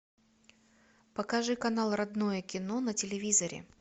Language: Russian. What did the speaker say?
покажи канал родное кино на телевизоре